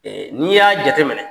N'i y'a jate minɛ.